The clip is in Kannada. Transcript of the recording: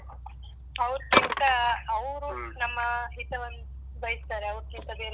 ಅವ್ರ್ಕಿಂತ ಅವ್ರು ನಮ್ಮ ಹಿತವನ್ನ್ ಬಯಸ್ತಾರೆ. ಅವ್ರಕ್ಕಿಂತ ಬೇರೆ.